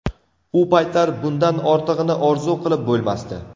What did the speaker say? U paytlar bundan ortig‘ini orzu qilib bo‘lmasdi.